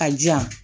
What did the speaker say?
A jan